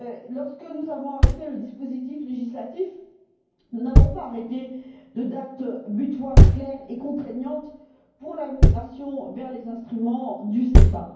Lorsque nous avons arrêté le dispositif législatif, nous n'avons pas arrêté de date butoir claire et contraignante pour la migration vers les instruments du SEPA.